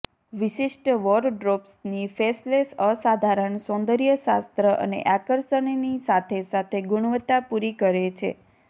વિશિષ્ટ વોરડ્રોબ્સની ફેસલેસ અસાધારણ સૌંદર્ય શાસ્ત્ર અને આકર્ષણની સાથે સાથે ગુણવત્તા પૂરી કરે છે